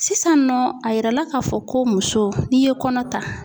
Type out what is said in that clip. Sisannɔ a yirala k'a fɔ ko muso n'i ye kɔnɔ ta.